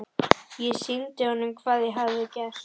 Ég sýndi honum hvað ég hafði gert.